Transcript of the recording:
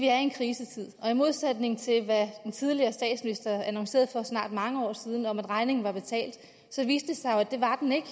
er i en krisetid og i modsætning til hvad den tidligere statsminister annoncerede for snart mange år siden nemlig at regningen var betalt så viste det sig jo at det var den ikke